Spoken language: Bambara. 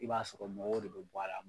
I b'a sɔrɔ mɔgɔw de be bɔ a la